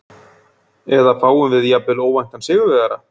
Eða fáum við jafnvel óvæntan sigurvegara?